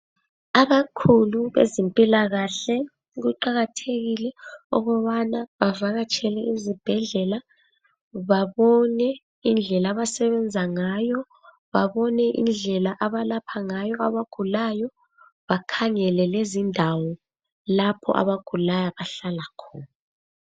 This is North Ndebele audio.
Abakhulu bezempilakahle kuqakathekile ukubana bavakatshele izibhedlela babone indlela abasebenza ngayo babone indlela abalapha ngayo abagulayo bakhangele Lezindawo lapho abagulayo abahlala khona